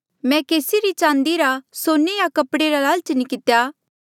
मैं केसी री चांदी रा सोने या कपड़े रा लालच नी कितेया